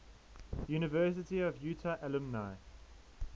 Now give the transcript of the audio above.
university of utah alumni